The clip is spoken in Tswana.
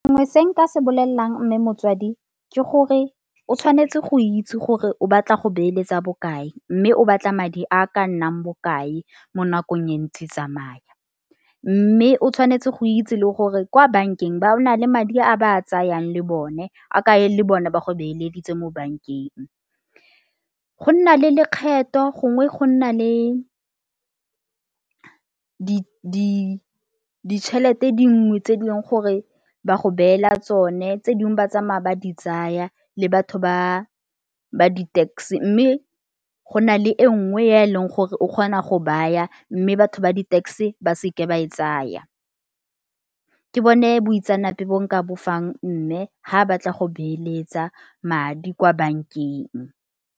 Nngwe se nka se bolelelang mme motsadi ke gore o tshwanetse go itse gore o batla go beeletsa bokae mme o batla madi a ka nnang bokae mo nakong e ntse e tsamaya. Mme o tshwanetse go itse le gore kwa bankeng ba na le madi a ba a tsayang le bone a kae le bone ba go beeleditse mo bankeng. Go nna le lekgetho gongwe go nna le ditšhelete dingwe tse di leng gore ba go beela tsone tse dingwe ba tsamaya ba di tsaya le batho ba ba di-tax mme go na le e nngwe e leng gore o kgona go baya mme batho ba di-tax ba seke ba e tsaya. Ke bone boitseanape bo nka bo fang mme ga batla go beeletsa madi kwa bankeng.